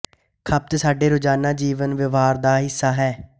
ਖ਼ਪਤ ਸਾਡੇ ਰੋਜ਼ਾਨਾਂ ਜੀਵਨ ਵਿਵਹਾਰ ਦਾ ਹਿੱਸਾ ਹੈ